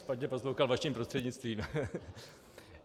Špatně poslouchal vaším prostřednictvím .